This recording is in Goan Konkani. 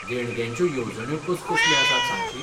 देणग्यांच्यो येवजण्यो कसकसल्यो आसात सांगशीत?